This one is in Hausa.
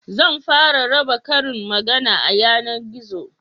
Zan fara raba karin magana a yanargizo